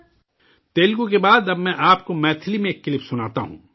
تیلگو کے بعد، اب میں آپ کو میتھلی میں ایک کلپ سناتا ہوں